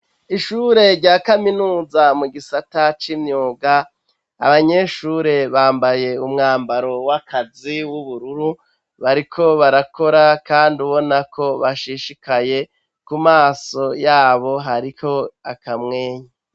Ishure rya kaminuza mu gisata c'imyuga abanyeshure bambaye umwambaro w'akazi w'ubururu bariko barakora, kandi ubona ko bashishikaye ku maso yabo hariko akamwenya.